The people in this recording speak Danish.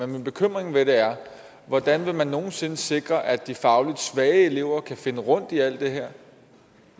min bekymring ved det er hvordan man nogen sinde vil sikre at de fagligt svage elever kan finde rundt i alt det her